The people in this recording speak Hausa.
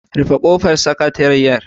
Rufe kofar Sakatariyar